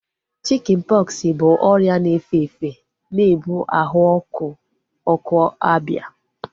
Chikin pọksi bụ ọrịa na-efe efe na-ebu ahụ ọkụ ọkụ abịa